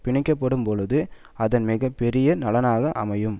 பிணைக்கப்படும்போழுது அதன் மிக பெரிய நலனாக அமையும்